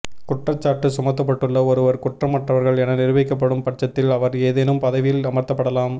குற்றச்சாட்டு சுமத்தப்பட்டுள்ள ஒருவர் குற்றமற்றவர்கள் என நிரூபிக்கப்படும் பட்சத்தில் அவர் ஏதேனும் பதவியில் அமர்த்தப்படலாம்